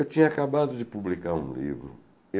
Eu tinha acabado de publicar um livro.